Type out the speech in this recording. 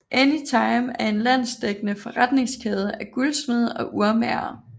Anytime er en landsdækkende forretningskæde af guldsmede og urmagere